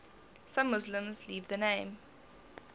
some muslims leave the name